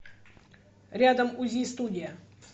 рядом узи студия